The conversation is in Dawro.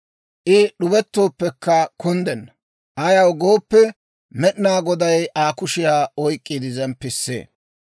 I d'ubettooppekka kunddenna; ayaw gooppe, Med'inaa Goday Aa kushiyaa oyk'k'iide zemppisee.